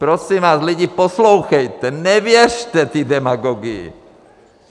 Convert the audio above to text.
Prosím vás, lidi, poslouchejte, nevěřte té demagogii!